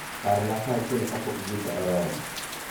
Parna saa achiel kapok bucha oromo